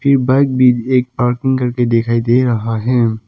Bike भी एक parking करके दिखाई दे रहा है।